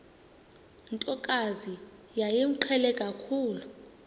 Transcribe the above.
ntokazi yayimqhele kakhulu